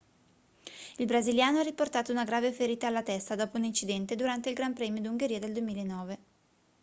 il brasiliano ha riportato una grave ferita alla testa dopo un incidente durante il gran premio d'ungheria del 2009